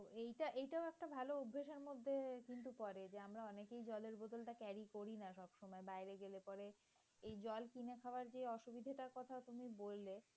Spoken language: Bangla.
কিন্তু পরে আমরা অনেকেই সেই জলের বোতলটা carry করি না। সব সময় বাইরে গেলে পরে এই জল কিনে খাওয়ার যে অসুবিধার কথাটা তুমি বললে।